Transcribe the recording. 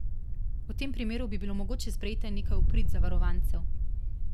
V tem primeru bi bilo mogoče sprejeti nekaj v prid zavarovancev.